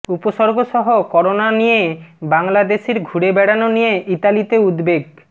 উপসর্গসহ corona নিয়ে বাংলাদেশির ঘুরে বেড়ানো নিয়ে ইতালিতে উদ্বেগ